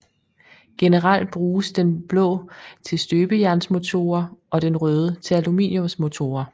Generelt bruges den blå til støbejernsmotorer og den røde til aluminiumsmotorer